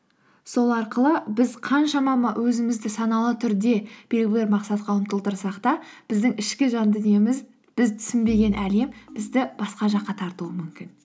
сол арқылы біз қаншама өзімізді саналы түрде мақсатқа ұмтылтырсақ та біздің ішкі жан дүниеміз біз түсінбеген әлем бізді басқа жаққа тартуы мүмкін